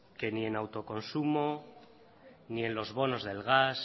que ni en autoconsumo ni en lo bonos del gas